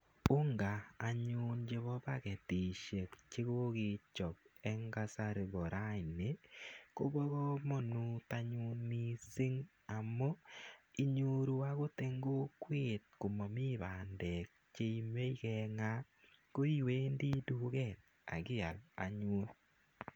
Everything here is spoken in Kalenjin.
Unga anyun chepa paketishek che kokechop eng' kasari pa raini, ko pa kamanut anyun missing' amu inyoru akot eng' kokwet ko mami pandek che imache keng'aa koniwendi en duket ak ial anyun.